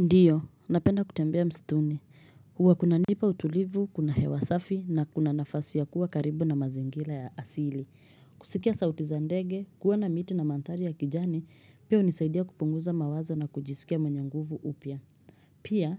Ndiyo, napenda kutembea msituni. Huwa kunanipa utulivu, kuna hewa safi na kuna nafasi ya kuwa karibu na mazingira ya asili. Kusikia sauti za ndege, kuona miti na mandhari ya kijani, pia hunisaidia kupunguza mawazo na kujisikia mwenye nguvu upya. Pia,